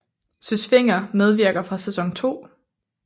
Søs Fenger medvirker fra sæson 2